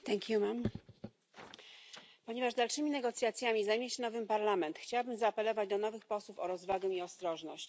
Pani Przewodnicząca! Ponieważ dalszymi negocjacjami zajmie się nowy parlament chciałabym zaapelować do nowych posłów o rozwagę i ostrożność.